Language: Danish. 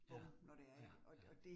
Ja, ja ja